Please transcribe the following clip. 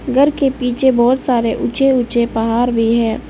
घर के पीछे बहोत सारे ऊंचे ऊंचे पहार भी है।